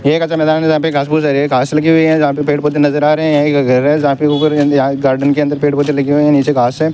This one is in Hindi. ये एक अच्छा मैदान है जहां पे घास-फूस लगी हुई हैं जहां पे पेड़-पौधे नजर आ रहे हैं एक घर है जहां पे ऊपर गार्डन के अंदर पेड़-पौधे लगे हुए हैं नीचे घास है।